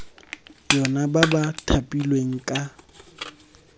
yona ba ba thapilweng ka